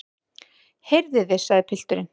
Heyrið þið, sagði pilturinn.